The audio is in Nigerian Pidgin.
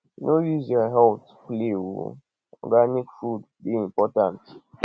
no use your healt play o organic food dey important